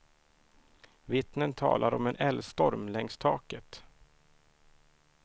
Vittnen talar om en eldstorm längs taket.